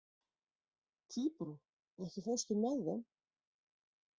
Tíbrá, ekki fórstu með þeim?